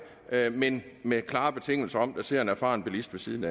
men med klare betingelser om at der sidder en erfaren bilist ved siden